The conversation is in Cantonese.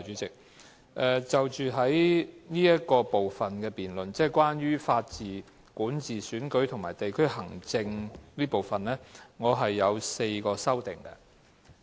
就着這部分關於"法治、管治、選舉及地區行政"的辯論環節，我提出了4項修正案。